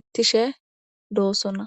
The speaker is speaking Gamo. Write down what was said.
qaachchidi bettosona.